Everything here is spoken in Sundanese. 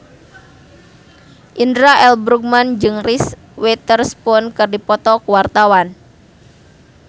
Indra L. Bruggman jeung Reese Witherspoon keur dipoto ku wartawan